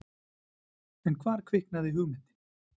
En hvar kviknaði hugmyndin?